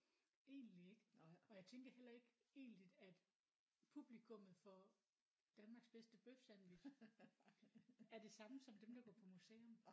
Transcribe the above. Egentlig ikke og jeg tænker heller ikke egentligt at publikummet for Danmarks bedste bøfsandwich er det samme som dem der går på museum